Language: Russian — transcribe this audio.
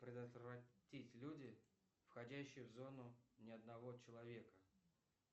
предотвратить люди входящие в зону ни одного человека